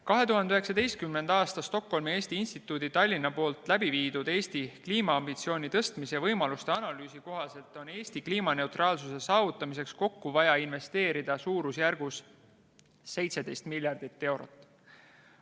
2019. aastal viis Stockholmi Eesti Instituut Tallinnas läbi Eesti kliimaambitsiooni tõstmise võimaluste analüüsi, mille kohaselt on Eesti kliimaneutraalsuse saavutamiseks kokku vaja investeerida suurusjärgus 17 miljardit eurot.